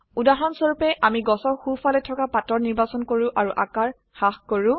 উদাহৰণস্বৰুপে আমি গাছৰ সো ফালে থকা পাতৰ নিৰ্বাচন কৰো আৰু আকাৰ হ্ৰাস কৰো